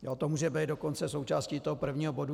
To může být dokonce součástí toho prvního bodu.